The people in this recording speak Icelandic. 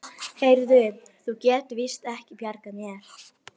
Heyrðu, þú getur víst ekki bjargað mér.